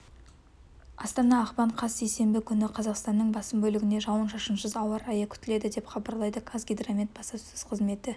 астана ақпан қаз сейсенбі күні қазақстанның басым бөлігінде жауын-шашынсыз ауа райы күтіледі деп хабарлайды қазгидромет баспасөз қызметі